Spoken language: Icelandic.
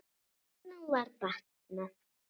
Honum var batnað.